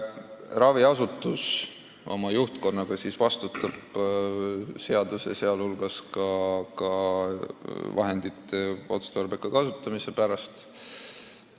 Raviasutuse juhtkond vastutab seaduse kohaselt ka vahendite otstarbeka kasutamise eest.